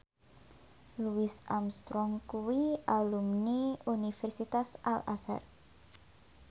Louis Armstrong kuwi alumni Universitas Al Azhar